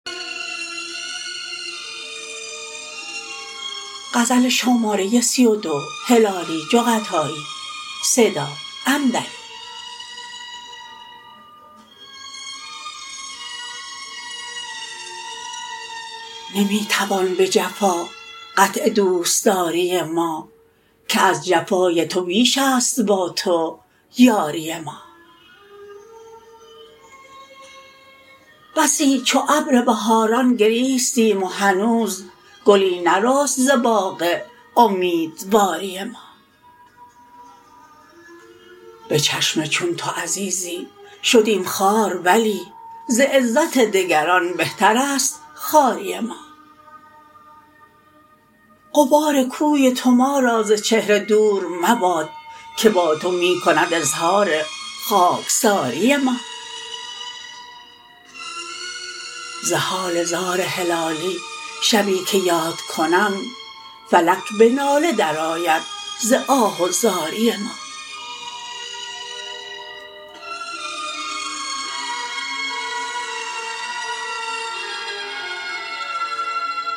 نمی توان بجفا قطع دوستداری ما که از جفای تو بیشست با تو یاری ما بسی چو ابر بهاران گریستیم و هنوز گلی نرست ز باغ امیدواری ما بچشم چون تو عزیزی شدیم خوار ولی ز عزت دگران بهترست خواری ما غبار کوی تو ما را ز چهره دور مباد که با تو می کند اظهار خاکساری ما ز حال زار هلالی شبی که یاد کنم فلک بناله درآید ز آه و زاری ما